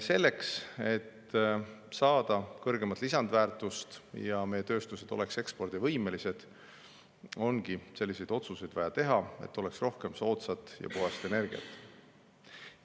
Selleks, et saada kõrgemat lisandväärtust ja et meie tööstused oleks ekspordivõimelised, ongi selliseid otsuseid vaja teha, et oleks rohkem soodsat ja puhast energiat.